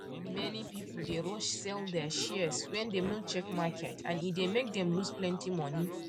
many people dey rush sell their shares wen dem no check market and e dey make dem lose plenty money